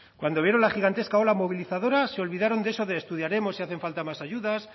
cuando vieron la gigantesca ola movilizadora se olvidaron de eso de estudiaremos si hacen falta más ayudas